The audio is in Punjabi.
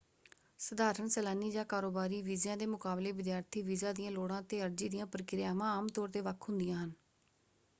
ਸਧਾਰਣ ਸੈਲਾਨੀ ਜਾਂ ਕਾਰੋਬਾਰੀ ਵੀਜ਼ਿਆਂ ਦੇ ਮੁਕਾਬਲੇ ਵਿਦਿਆਰਥੀ ਵੀਜ਼ਾ ਦੀਆਂ ਲੋੜਾਂ ਅਤੇ ਅਰਜ਼ੀ ਦੀਆਂ ਪ੍ਰਕਿਰਿਆਵਾਂ ਆਮ ਤੌਰ ‘ਤੇ ਵੱਖ ਹੁੰਦੀਆਂ ਹਨ।